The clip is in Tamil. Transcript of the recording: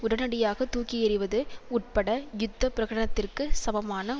உடனடியாக தூக்கியெறிவது உட்பட யுத்த பிரகனத்திற்கு சமமான